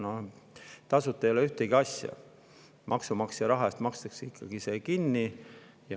No tasuta ei ole ühtegi asja, maksumaksja raha eest makstakse see ikkagi kinni.